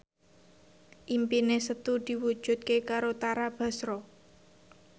impine Setu diwujudke karo Tara Basro